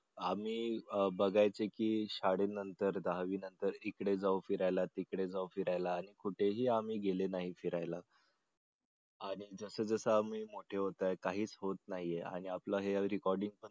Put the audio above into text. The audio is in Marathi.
आम्ही बघायचं की शाळेनंतर दहावीनंतर इकडे जाऊ फिरायला तिकडे जाऊ फिरायला कुठेही आम्ही गेले नाही फिरायला आणि जस जस आपण मोठे होत आहे तसं काहीच होत नाही आपलं हे every calling